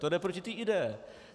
To jde proti té ideji.